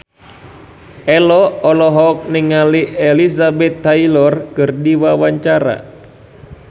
Ello olohok ningali Elizabeth Taylor keur diwawancara